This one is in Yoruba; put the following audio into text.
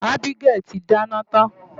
Abigail ti dáná tán.